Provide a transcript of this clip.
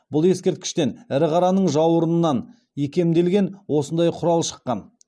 бұл ескерткіштен ірі қараның жауырынынан икемделген осындай құрал шыққан